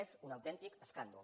és un autèntic escàndol